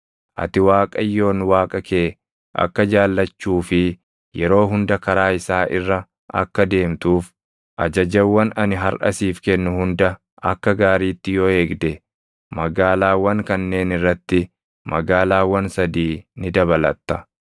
ati Waaqayyoon Waaqa kee akka jaallachuu fi yeroo hunda karaa isaa irra akka deemtuuf ajajawwan ani harʼa siif kennu hunda akka gaariitti yoo eegde, magaalaawwan kanneen irratti magaalaawwan sadii ni dabalatta.